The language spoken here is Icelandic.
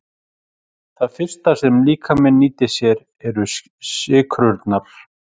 Það fyrsta sem líkaminn nýtir sér eru sykrurnar.